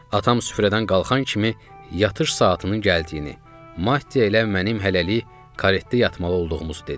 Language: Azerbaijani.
Atam süfrədən qalxan kimi yatış saatının gəldiyini, Maddiya ilə mənim hələlik karetdə yatmalı olduğumuzu dedi.